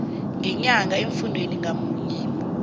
ngenyanga emfundini ngamunye